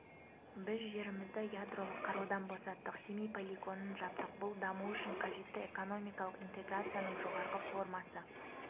біз жерімізді ядролық қарудан босаттық семей полигонын жаптық бұл даму үшін қажетті экономикалық интеграцияның жоғарғы формасы